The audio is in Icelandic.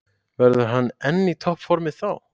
Verður hann enn í toppformi þá?